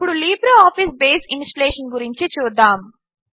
ఇప్పుడు LibreOffice Base installation గురించి చూద్దాము